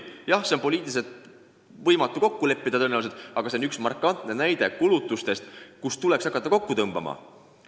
Jah, tõenäoliselt on poliitiliselt võimatu muus kokku leppida, aga see on üks markantne näide kulutustest, mida tuleks hakata kokku tõmbama.